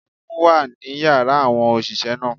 Ẹfun wà ní yàrá àwọn òṣìṣẹ́ náà.